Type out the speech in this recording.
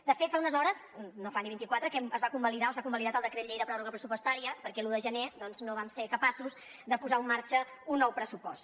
de fet fa unes hores no en fa ni vint i quatre que es va convalidar o s’ha convalidat el decret llei de pròrroga pressupostària perquè l’un de gener doncs no vam ser capaços de posar en marxa un nou pressupost